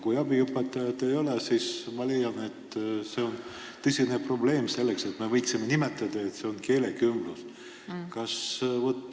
Kui abiõpetajat ei ole, siis ma leian, et seda keelekümbluseks nimetada oleks tõsine probleem.